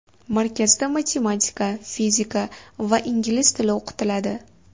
Markazda matematika, fizika va ingliz tili o‘qitiladi.